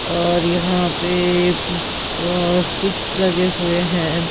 और यहां पे अ स्विच लगे हुए हैं.